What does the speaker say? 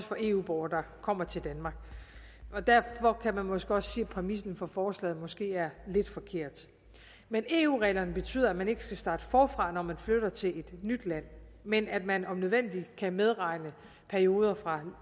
for eu borgere der kommer til danmark og derfor kan man måske også sige at præmissen for forslaget måske er lidt forkert men eu reglerne betyder at man ikke skal starte forfra når man flytter til et nyt land men at man om nødvendigt kan medregne perioder fra